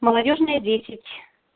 молодёжная десять